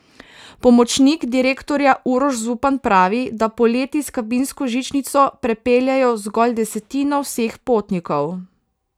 Pomočnik direktorja Uroš Zupan pravi, da poleti s kabinsko žičnico prepeljejo zgolj desetino vseh potnikov.